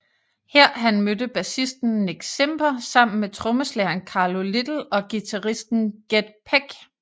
Her han mødte bassisten Nick Simper sammen med trommeslageren Carlo Little og guitaristen Ged Peck